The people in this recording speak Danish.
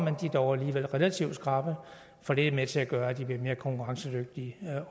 er dog alligevel relativt skrappe for det er med til at gøre at de bliver mere konkurrencedygtige